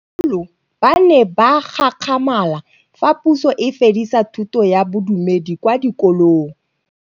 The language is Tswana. Bagolo ba ne ba gakgamala fa Pusô e fedisa thutô ya Bodumedi kwa dikolong.